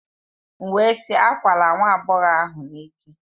M wee sị, akwala nwa agbọghọ ahụ n'ike!